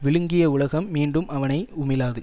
விழுங்கிய உலகம் மீண்டும் அவனை உமிழாது